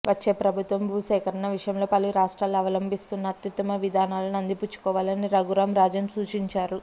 వచ్చే ప్రభుత్వం భూసేకరణ విషయంలో పలు రాష్ట్రాలు అవలంబిస్తున్న అత్యుత్తమ విధానాలను అందిపుచ్చుకోవాలని రఘురామ్ రాజన్ సూచించారు